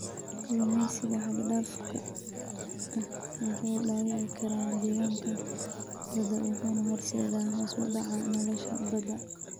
Kalluumeysiga xad dhaafka ah wuxuu dhaawici karaa deegaanka badda wuxuuna horseedaa hoos u dhaca nolosha badda.